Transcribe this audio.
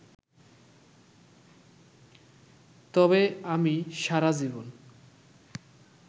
তবে আমি সারা জীবন